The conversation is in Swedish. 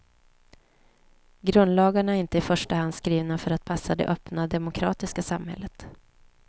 Grundlagarna är inte i första hand skrivna för att passa det öppna, demokratiska samhället.